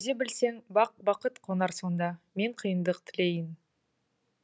төзе білсең бақ бақыт қонар сонда мен қиындық тілейін